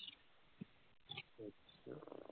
ਅੱਛਾ